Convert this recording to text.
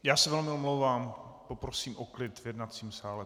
Já se velmi omlouvám, poprosím o klid v jednacím sále.